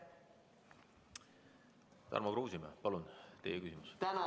Tarmo Kruusimäe, palun, teine küsimus!